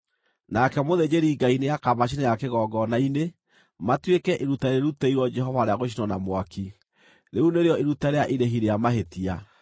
Nake mũthĩnjĩri-Ngai nĩakamacinĩra kĩgongona-inĩ, matuĩke iruta rĩrutĩirwo Jehova rĩa gũcinwo na mwaki. Rĩu nĩrĩo iruta rĩa irĩhi rĩa mahĩtia.